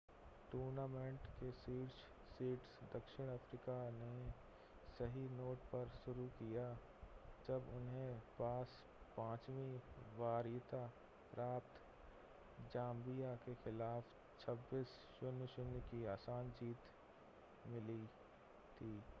tournament के शीर्ष seeds दक्षिण अफ़्रीका ने सही नोट पर शुरू किया जब उनके पास 5वीं वरीयता प्राप्त ज़ांबिया के ख़िलाफ़ 26 - 00 की आसान जीत थी